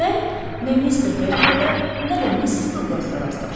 Mən nə Mr. Berkerlə, nə də Missis Douqlasla rastlaşdım.